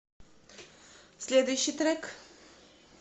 следующий трек